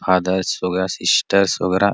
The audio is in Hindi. फादर्स वगेरा सिस्टर्स वगेरा--